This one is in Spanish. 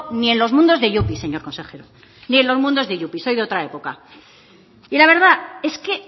ni en los mundos de yupi señor consejero ni en los mundos de yupi soy de otra época y la verdad es que